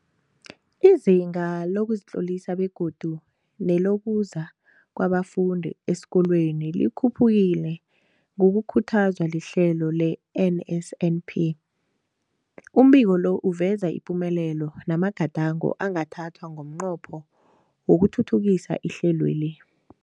Izinga lokuzitlolisa begodu nelokuza kwabafundi esikolweni likhuphukile ngokukhuthazwa lihlelo le-NSNP. Umbiko lo uveza ipumelelo namagadango angathathwa ngomnqopho wokuthuthukisa ihlelweli.